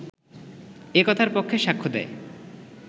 এ কথার পক্ষে সাক্ষ্য দেয়